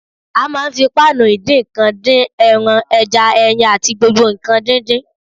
A máa ń fi páànù ìdíǹkan dín: ẹran, ẹja, ẹyin àti gbogbo nǹkan díndín